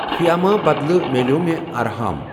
فِیاما بدلہٕ مِلٮ۪و مےٚ ارہام۔